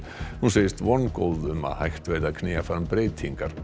hún segist vongóð um að hægt verði að knýja fram breytingar